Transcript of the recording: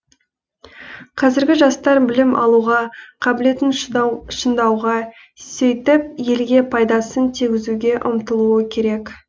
қазіргі жастар білім алуға қабілетін шыңдауға сөйтіп елге пайдасын тигізуге ұмтылуы керек